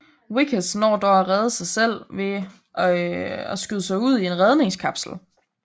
Vickers når dog at rede sig selv ved at skyde sig ud i en redningskapsel